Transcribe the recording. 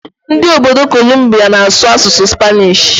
Ndị obodo Kolumbia na-asụ asụsụ Spanish.